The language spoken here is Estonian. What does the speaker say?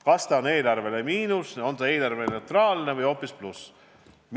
Kas see tähendab eelarvele miinust, on see eelarveneutraalne või tähendab hoopis plussi.